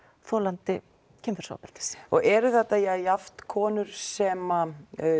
þolandi kynferðisofbeldis og eru þetta jafnt konur sem